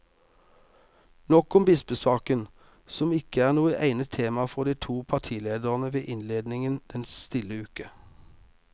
Nok om bispesaken, som ikke er noe egnet tema for de to partilederne ved innledningen den stille uke.